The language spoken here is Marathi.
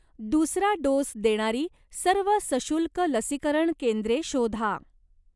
दुसरा डोस देणारी सर्व सशुल्क लसीकरण केंद्रे शोधा.